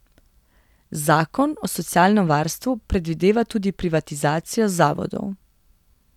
Zakon o socialnem varstvu predvideva tudi privatizacijo zavodov.